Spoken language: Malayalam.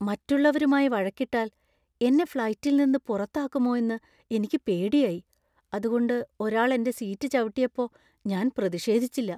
മറ്റുള്ളവരുമായി വഴക്കിട്ടാൽ എന്നെ ഫ്‌ളൈറ്റിൽ നിന്ന് പുറത്താക്കുമോ എന്ന് എനിക്ക് പേടിയായി , അതുകൊണ്ട് ഒരാൾ എന്‍റെ സീറ്റ് ചവിട്ടിയപ്പോ ഞാൻ പ്രതിഷേധിച്ചില്ല.